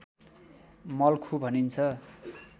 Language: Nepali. मल्खु भनिन्छ